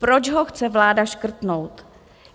Proč ho chce vláda škrtnout?